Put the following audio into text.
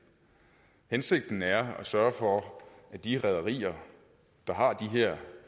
hensigten er at sørge for at de rederier der har de her